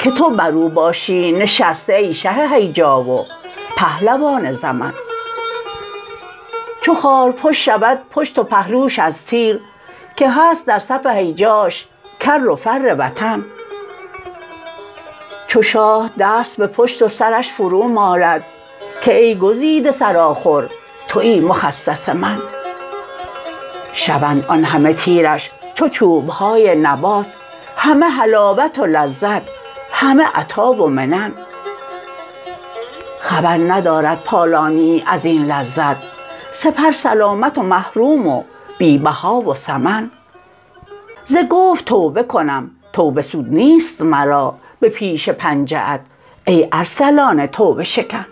که تو بر او باشی نشسته ای شه هیجا و پهلوان زمن چو خارپشت شود پشت و پهلوش از تیر که هست در صف هیجاش کر و فر وطن چو شاه دست به پشت و سرش فرومالد که ای گزیده سر آخر توی مخصص من شوند آن همه تیرش چو چوب های نبات همه حلاوت و لذت همه عطا و منن خبر ندارد پالانیی از این لذت سپر سلامت و محروم و بی بها و ثمن ز گفت توبه کنم توبه سود نیست مرا به پیش پنجه ات ای ارسلان توبه شکن